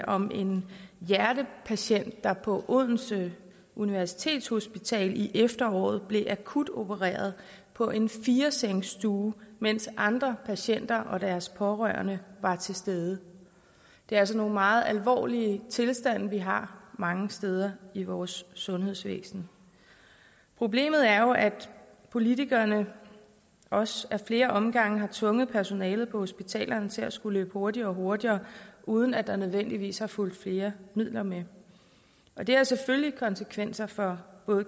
om en hjertepatient der på odense universitetshospital i efteråret blev akutopereret på en firesengsstue mens andre patienter og deres pårørende var til stede det er altså nogle meget alvorlige tilstande vi har mange steder i vores sundhedsvæsen problemet er jo at politikerne også ad flere omgange har tvunget personalet på hospitalerne til at skulle løbe hurtigere og hurtigere uden at der nødvendigvis er fulgt flere midler med og det har selvfølgelig konsekvenser for